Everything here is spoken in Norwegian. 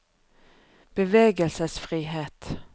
bevegelsesfrihet